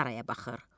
saraya baxır.